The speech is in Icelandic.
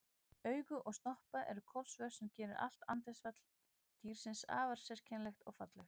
Augu og snoppa eru kolsvört sem gerir allt andlitsfall dýrsins afar sérkennilegt og fallegt.